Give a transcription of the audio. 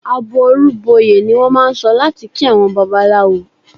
"Àbọrú bọyè" ni wọ́n máà ń sọ láti kí àwọn Babaláwo.